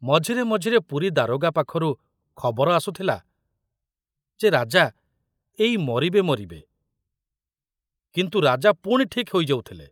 ମଝିରେ ମଝିରେ ପୁରୀ ଦାରୋଗା ପାଖରୁ ଖବର ଆସୁଥିଲା ଯେ ରାଜା ଏଇ ମରିବେ ମରିବେ, କିନ୍ତୁ ରାଜା ପୁଣି ଠିକ ହୋଇଯାଉଥିଲେ।